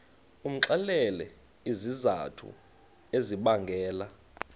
umxelele izizathu ezibangela